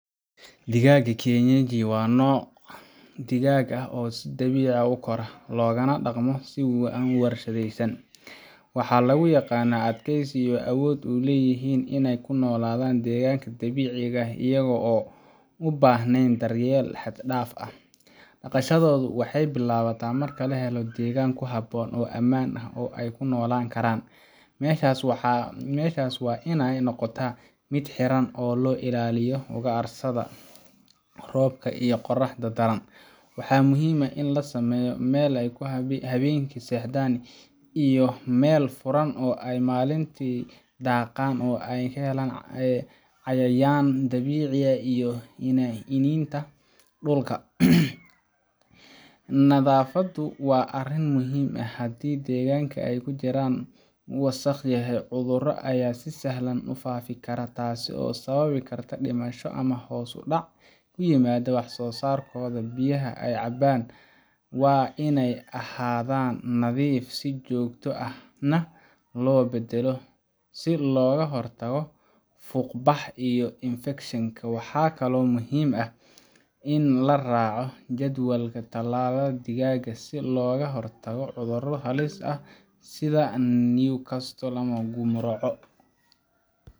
Digaagga kienyeji waa nooc digaag ah oo si dabiici ah u kora, loogana dhaqmo si aan warshadaysnayn. Waxaa lagu yaqaannaa adkeysi iyo awood ay u leeyihiin inay u noolaadaan deegaanka dabiiciga ah iyaga oo aan u baahnayn daryeel xad dhaaf ah. Dhaqashadoodu waxay bilaabataa marka la helo deegaan ku habboon oo ammaan ah oo ay ku noolaan karaan. Meeshaas waa inay noqotaa mid xiran si looga ilaaliyo ugaarsatada, roobka iyo qorraxda daran. Waxaa muhiim ah in la sameeyo meel ay habeenkii seexdaan, iyo meel furan ay maalintii daaqaan oo ay helaan cayayaanka dabiiciga ah iyo iniinta dhulka. Nadaafaddu waa arrin muhiim ah. Haddii deegaanka ay ku jiraan uu wasakh yahay, cudurro ayaa si sahlan u faafi kara, taasoo sababi karta dhimasho ama hoos u dhac ku yimaada wax-soo-saarkooda. Biyaha ay cabbaan waa in ay ahaadaan nadiif si joogto ahna loo beddelo, si looga hortago fuuqbax iyo infekshanka. Waxaa kale oo muhiim ah in la raaco jadwalka tallaalka digaagga, si looga hortago cudurro halis ah sida Newcastle ama Gumroco.